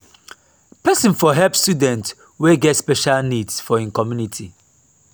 person for help student wey get special needs for im commumity